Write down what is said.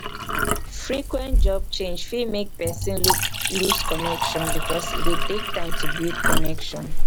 frequent job change fit make person lose connection because e dey take time to build connection